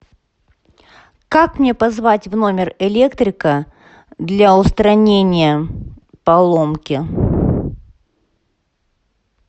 как мне позвать в номер электрика для устранения поломки